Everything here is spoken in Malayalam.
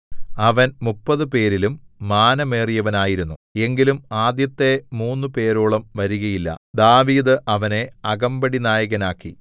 അവൻ മുപ്പതു പേരിലും മാനമേറിയവനായിരുന്നു എങ്കിലും ആദ്യത്തെ മൂന്നുപേരോളം വരികയില്ല ദാവീദ് അവനെ അകമ്പടിനായകനാക്കി